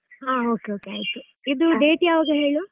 ಹಾ okay okay ಆಯಿತು . ಇದು date ಯಾವಾಗಾ ಹೇಳು?